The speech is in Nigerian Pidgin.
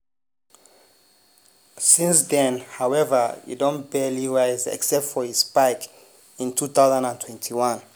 since den howeva e don barely rise except for a spike in 2021.